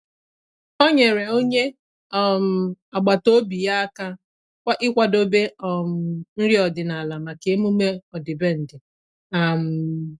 Ọ́ nyèrè onye um agbata obi ya áká íkwàdòbé um nrí ọ́dị́nála màkà emume ọ́dị́bèndị̀. um